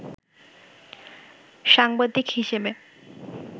সাংবাদিক হিসেবে